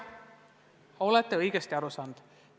Jah, olete õigesti aru saanud.